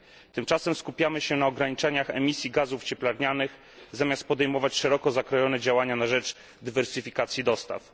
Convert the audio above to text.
Tymczasem skupiamy się na ograniczeniach emisji gazów cieplarnianych zamiast podejmować szeroko zakrojone działania na rzecz dywersyfikacji dostaw.